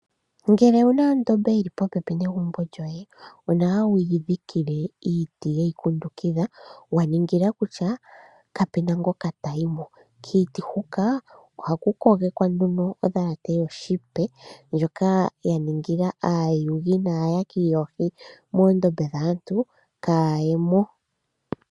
Ngele owuna ondombe yili popepi negumbo lyoye, onawa wuyi dhikile iiti ye yi kundukitha wa ningila kutya kapuna ngoka tayi mo. Kiiti huka ohaku kogekwa nduno odhalate yoshipe ndjoka ya ningila aayugi naayaki yoohi moondombe dhaantu kaaya ye mo.